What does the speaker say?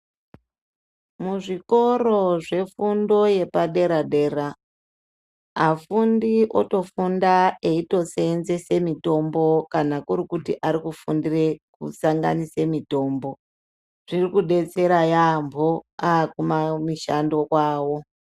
Muzvikoro zvefubdo yepadera-dera afundi otofunda eitoseenzese mitombo kana kuri kuti ari kufundire kusanganise mitombo. Zviri kudetsera yaambo akumamishando kwavo.